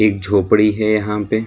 एक झोपड़ी है यहां पे।